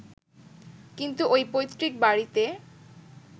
কিন্তু ওই পৈত্রিক বাড়িতে